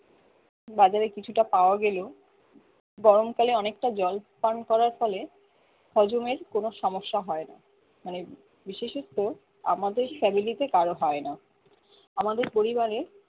বাজকারে কিছুটা পাওয়া গেলেও গরমকালে অনেকটা জল পান করার ফলে হজমের কোনো সমস্যা হয়না মানে বিশেষত্ব আমাদের family তে কারো হয়না আমাদের পরিবারে